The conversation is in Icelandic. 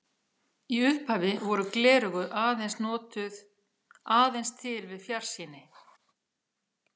Í upphafi voru gleraugu aðeins til við fjarsýni.